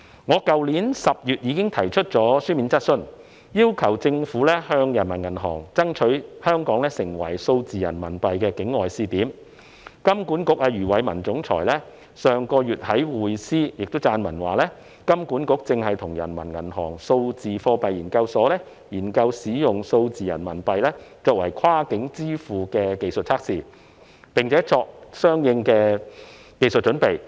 去年10月，我已經提出書面質詢，要求政府向中國人民銀行爭取香港成為數字人民幣的境外試點，金管局總裁余偉文上月亦在《匯思》撰文表示，金管局正在與中國人民銀行數字貨幣研究所研究使用數字人民幣進行跨境支付的技術測試，並作出相應的技術準備。